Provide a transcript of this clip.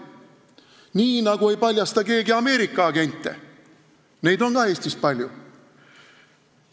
Nii nagu ei paljasta keegi Ameerika agente, keda on ka Eestis palju.